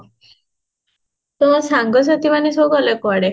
ତମ ସାଙ୍ଗ ସାଥି ମାନେ ଗଲେ କୁଆଡେ?